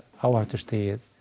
áhættustigið